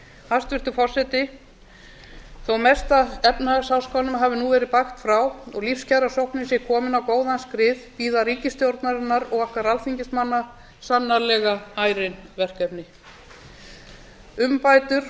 hæstvirtur forseti þó mesta efnahagsháskanum hafi nú verið bægt frá og lífskjarasóknin sé komin á góðan skrið bíða ríkisstjórnarinnar og okkar alþingismanna sannarlega ærin verkefni umbætur